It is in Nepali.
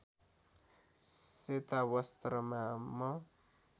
सेता वस्त्रमा म